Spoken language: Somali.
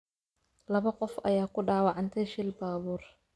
Laba qof ayaa ku dhaawacantay shil baabuur